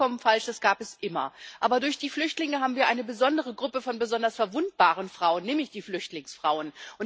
Das ist vollkommen falsch, das gab es immer. Aber durch die Flüchtlinge haben wir eine besondere Gruppe von besonders verwundbaren Frauen, nämlich die Flüchtlingsfrauen.